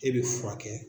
E bɛ furakɛ